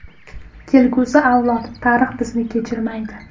Kelgusi avlod, tarix bizni kechirmaydi.